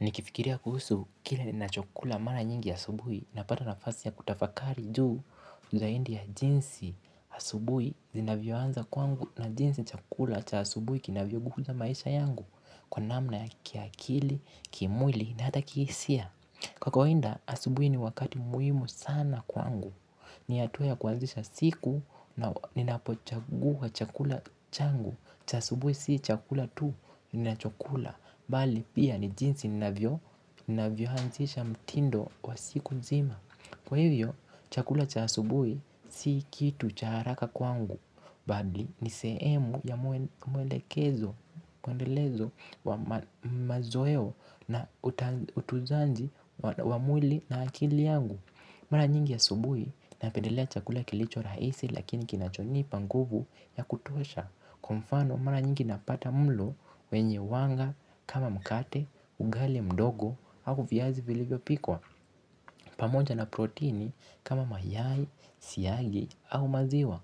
Nikifikiria kuhusu kila ninachokula mara nyingi asubuhi napata nafasi ya kutafakari juu zaidi ya jinsi asubuhi zinavyoanza kwangu na jinsi chakula cha asubuhi kinavyo guza maisha yangu kwa namna ya kiakili, kimwili na hata kihisia. Kwa kawaida, asubuhi ni wakati muhimu sana kwangu. Ni hatua ya kuanzisha siku na ninapochagua chakula changu. Cha asubuhi si chakula tu, ninachokula. Bali pia ni jinsi ninavyo, ninavyoanzisha mtindo wa siku nzima. Kwa hivyo, chakula cha subuhi si kitu cha haraka kwangu, bali ni sehemu ya mwelekezo, kuendelezo, wa mazoeo na utunzaji wa mwili na akili yangu. Mara nyingi ya asubuhi napendelea chakula kilicho rahisi lakini kinachonipa nguvu ya kutosha kwa mfano mara nyingi napata mlo wenye wanga kama mkate, ugali mdogo au viazi vilivyo pikwa pamoja na protini kama mayai, siagi ama maziwa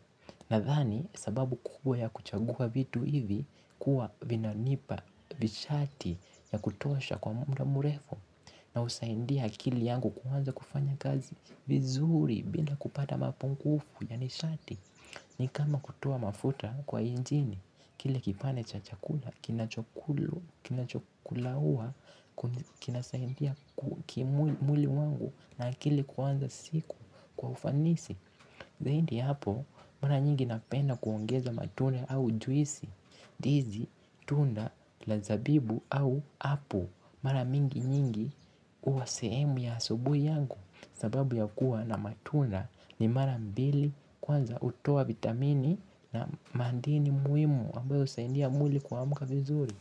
nadhani sababu kubwa ya kuchagua vitu hivi huwa vinanipa vishati ya kutosha kwa muda mrefu na husaidia akili yangu kuanza kufanya kazi vizuri bila kupata mapungufu ya nishati. Ni kama kutoa mafuta kwa injini kile kipande cha chakula kinachokulu kinachokulaua kinasaidia mwili wangu na akili kuanza siku kwa ufanisi. Zaidi ya hapo, mara nyingi napenda kuongeza matune au juisi. Ndizi, tunda la zabibu au Apple mara nyingi huwa sehemu ya asubuhi yangu. Sababu ya kuwa na matunda ni mara mbili kwanza hutoa vitamini na madini muhimu ambayo husaidia mwli kuamka vizuri.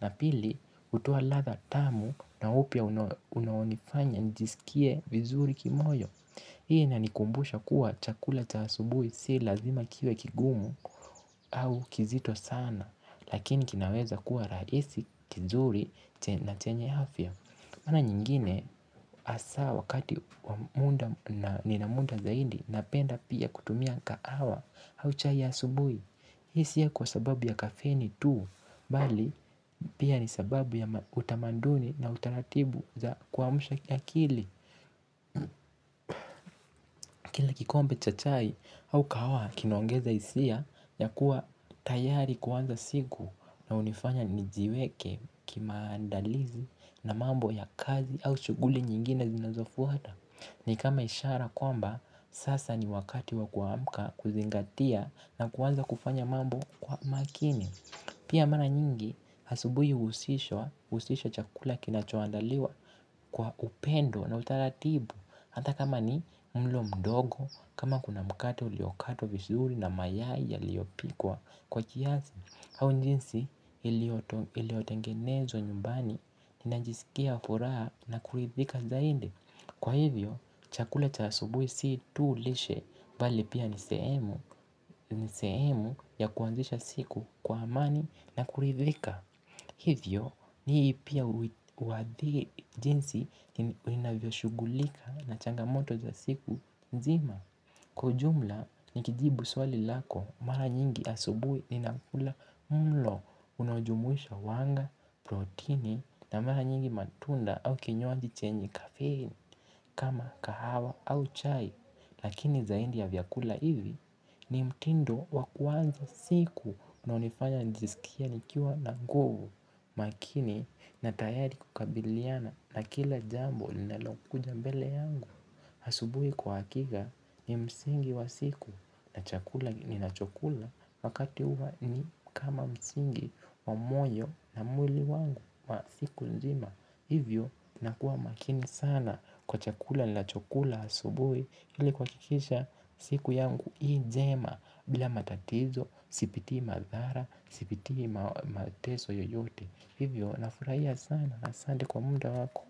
Na pili, hutoa ladha tamu na upya unaonifanya njisikie vizuri kimoyo. Hii inanikumbusha kuwa chakula chasubui si lazima kiwe kigumu au kizito sana. Lakini kinaweza kuwa rahisi kizuri na chenye afya mara nyingine hasaa wakati wa muda na nina muda zaidi napenda pia kutumia kahawa au chai asubuhi. Hii sii ya kwa sababu ya kafeni tuu, bali pia ni sababu ya utamaduni na utaratibu za kuamsha ya akili. Kila kikombe cha chai au kahawa kinaongeza hisia ya kuwa tayari kuanza siku na hunifanya nijiweke kimaandalizi na mambo ya kazi au shughuli nyingine zinazofuata. Ni kama ishara kwamba, sasa ni wakati wa kuamka kuzingatia na kuanza kufanya mambo kwa makini. Pia mara nyingi, asubuhi huusishwa chakula kinachoandaliwa kwa kupendwa na utaratibu. Hata kama ni mlo mdogo, kama kuna mkate uliokatwa vizuri na mayai yaliyopikwa kwa kiasi. Au jinsi iliotengenezwa nyumbani, ninajisikia furaha na kuridhika zaidi. Kwa hivyo, chakula cha asubuhi sii tu lishe bali pia nisehemu ya kuandisha siku kwa amani na kuridhika. Hivyo, hii pia huwathie jinsi ninavyo shughulika na changamoto za siku nzima. Kiujumla, nikijibu swali lako, mara nyingi asubuhi ninakula mlo unaojumuisha wanga, protini na mara nyingi matunda au kinywaji chenji kafein. Kama kahawa au chai, lakini zaidi ya vyakula hivi, ni mtindo wakuanza siku na hunifanya njisikie nikiwa na nguvu. Makini na tayari kukabiliana na kila jambo linalokuja mbele yangu. Asubui kwa hakika ni msingi wa siku na chakula ninachokula wakati huwa ni kama msingi wa moyo na mwili wangu wa siku nzima. Hivyo na kuwa makini sana kwa chakula nachakula asubuhi ili kuhakikisha siku yangu hii njema bila matatizo. Sipitii madhara. Sipitii mateso yoyote. Hivyo nafurahia sana asante kwa muda wako.